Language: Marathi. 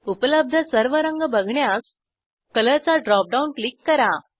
उपलब्ध सर्व रंग बघण्यास कलर चा ड्रॉपडाऊन क्लिक करा